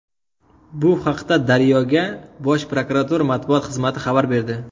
Bu haqda Daryo”ga Bosh prokuratura matbuot xizmati xabar berdi.